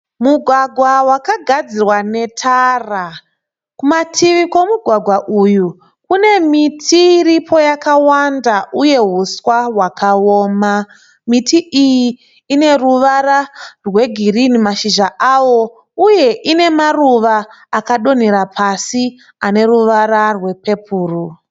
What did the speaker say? Mugwagwa wakagadzirwa netara, kumativi kwemugwagwa uyu kune miti iripo yakawanda, uye huswa hwakaoma miti iyi ine ruvara rwegirini mashizha awo uye ine mashizha akadonhera pasi ane ruvara rwepepuru.